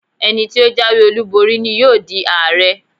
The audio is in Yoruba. Ẹni tí ó jáwé olúborí ni yóò di Ààrẹ.